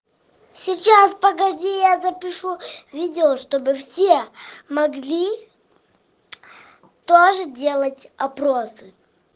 сейчас погоди я запишу видео чтобы все могли тоже делать опросы